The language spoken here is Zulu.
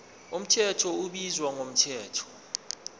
mthetho ubizwa ngomthetho